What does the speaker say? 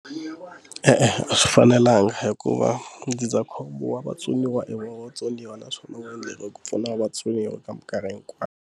E-e a swi fanelanga hikuva ndzindzakhombo wa vatsoniwa i vatsoniwa naswona wu endleriwe ku pfuna vatsoniwa ka mikarhi hikwayo.